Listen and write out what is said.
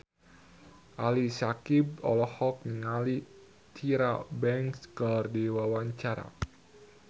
Ali Syakieb olohok ningali Tyra Banks keur diwawancara